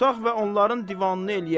Tutaq və onların divanını eləyək.